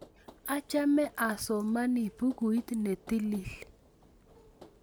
Achame asomani bukuit ne tilil